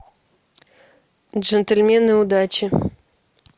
джентльмены удачи